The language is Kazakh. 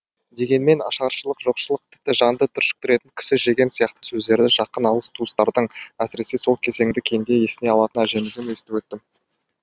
дегенмен ашаршылық жоқшылық тіпті жанды түршіктіретін кісі жеген сияқты сөздерді жақын алыс туыстардан әсіресе сол кезеңді кеңде есіне алатын әжемізден естіп өттім